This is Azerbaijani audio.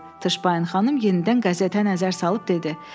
Tışpayın xanım yenidən qəzetə nəzər salıb dedi: